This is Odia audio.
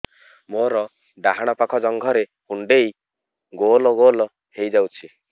ମୋର ଡାହାଣ ପାଖ ଜଙ୍ଘରେ କୁଣ୍ଡେଇ ଗୋଲ ଗୋଲ ହେଇଯାଉଛି